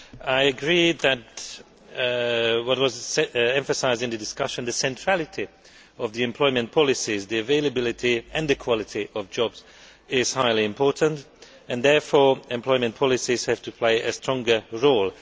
I agree with what was emphasised in the discussion that the centrality of employment policies the availability and the quality of jobs is highly important, and therefore employment policies have to play a stronger role.